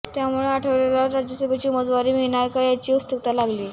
त्यामुळं आठवलेंना राज्यसभेची उमेदवारी मिळणार का याची उत्सुकता लागलीय